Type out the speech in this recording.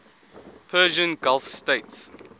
persian gulf states